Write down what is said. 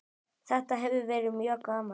Þetta hefur verið mjög gaman.